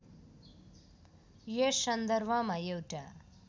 यस सन्दर्भमा एउटा